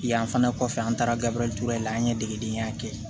Yan fana kɔfɛ an taara gabriel ture la an ye degedenya kɛ